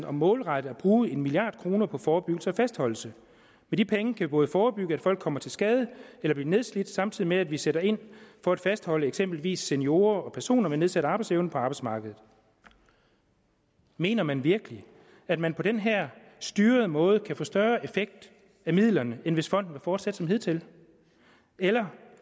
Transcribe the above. om målrettet at bruge en milliard kroner på forebyggelse og fastholdelse med de penge kan vi både forebygge at folk kommer til skade eller bliver nedslidte samtidig med at vi sætter ind for at fastholde eksempelvis seniorer og personer med nedsat arbejdsevne på arbejdsmarkedet mener man virkelig at man på den her styrede måde kan få større effekt af midlerne end hvis fonden var fortsat som hidtil eller